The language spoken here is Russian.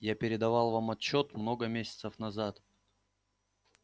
я передавал вам отчёт много месяцев назад